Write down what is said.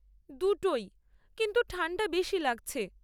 দুটোই, কিন্তু ঠান্ডা বেশি লাগছে।